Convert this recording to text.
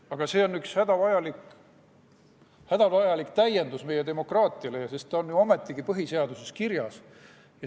Aga see on üks hädavajalik täiendus meie demokraatiale, sest ta on ju ometigi põhiseaduses kirjas.